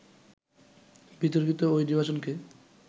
বিতর্কিত ওই নির্বাচনকে